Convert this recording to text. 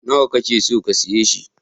Nawa ka ke so ka siya shi?